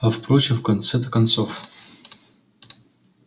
а впрочем в конце-то концов